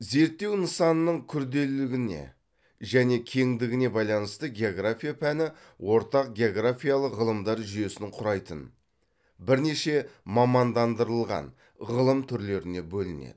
зертеу нысанының күрделілігіне және кеңдігіне байланысты география пәні ортақ географиялық ғылымдар жүйесін құрайтын бірнеше мамандандырылған ғылым түрлеріне бөлінеді